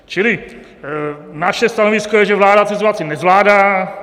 Čili naše stanovisko je, že vláda situaci nezvládá.